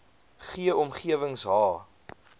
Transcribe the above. g omgewings h